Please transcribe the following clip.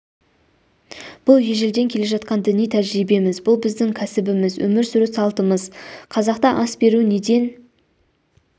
бұл ежелден келе жатқан діни тәжірибеміз бұл біздің кәсібіміз өмір сүру салтымыз қазақта ас беру неден